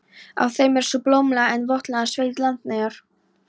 Á þeim er sú blómlega en votlenda sveit, Landeyjar.